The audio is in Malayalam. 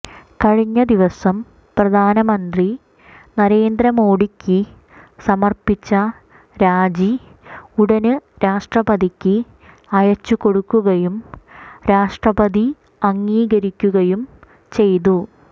കഴിഞ്ഞ ദിവസം പ്രധാനമന്ത്രി നരേന്ദ്ര മോഡിക്ക് സമര്പ്പിച്ച രാജി ഉടന് രാഷ്ട്രപതിക്ക് അയച്ചുകൊടുക്കുകയും രാഷ്ട്രപതി അംഗീകരിക്കുകയും ചെയ്തു